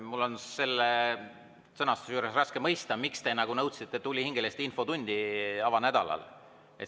Mul on selle sõnastuse juures raske mõista, miks te nõudsite tulihingeliselt infotundi avanädalal.